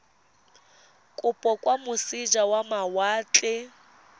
kopo kwa moseja wa mawatle